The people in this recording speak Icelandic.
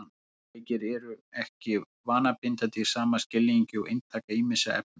Tölvuleikir eru ekki vanabindandi í sama skilningi og inntaka ýmissa efna.